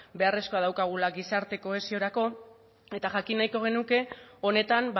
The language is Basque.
beharrezkoa daukagula gizarte kohesiorako eta jakin nahiko genuke honetan